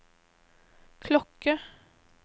klokke